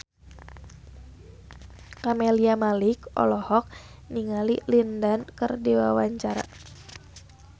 Camelia Malik olohok ningali Lin Dan keur diwawancara